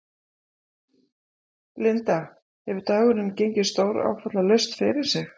Linda: Hefur dagurinn gengið stóráfallalaust fyrir sig?